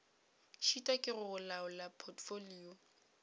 šitwa ke go laola potfolio